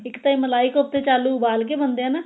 ਇੱਕ ਤਾਂ ਇਹ ਮਲਾਈ ਕੋਫਤੇ ਚ ਆਲੂ ਉਬਾਲ ਕੇ ਬਣਦੇ ਆ ਨਾ